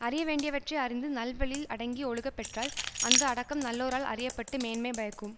அறிய வேண்டியவற்றை அறிந்து நல்வழியில் அடங்கி ஒழுகப்பெற்றால் அந்த அடக்கம் நல்லோரால் அறிய பட்டு மேன்மை பயக்கும்